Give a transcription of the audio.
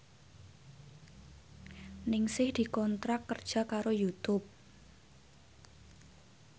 Ningsih dikontrak kerja karo Youtube